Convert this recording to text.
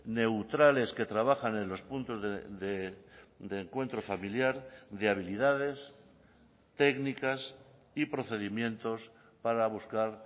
neutrales que trabajan en los puntos de encuentro familiar de habilidades técnicas y procedimientos para buscar